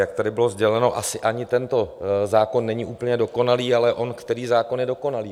Jak tady bylo sděleno, asi ani tento zákon není úplně dokonalý, ale on který zákon je dokonalý?